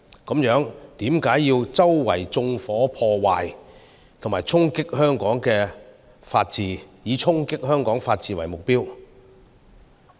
為何要周圍縱火和破壞，以衝擊香港的法治為目標？